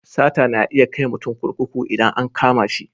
Sata na iya kai mutum kurkuku idan an kama shi.